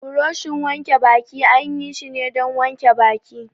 Buroshin wanke baki an yi shi ne don wanke baki.